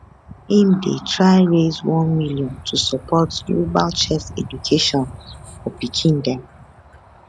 im dey try raise 1 million to support global chess education for pikin dem